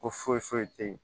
Ko foyi foyi te yen